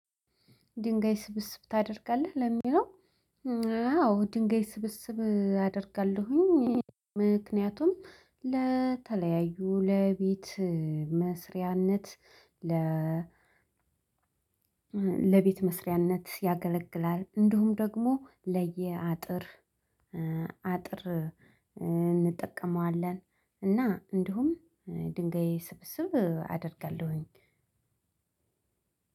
ድንጋይ ስብስብ ታደርጋለህ ለሚለው? አዎ ድንጋይ ስብስብ አደርጋለሁኝ። ምክንያቱም ለተለያዩ ለቤት መስሪያነት ለ ለቤት መስሪያነት ያገለግላል። እንዲሁም ደግሞ ለየአጥር አጥር እንጠቀመዋለን። እና እንዲሁም ድንጋይ ስብስብ አደርጋለው።